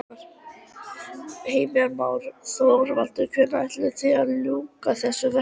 Heimir Már: Þorvaldur hvenær áætlið þið að ljúka þessu verki?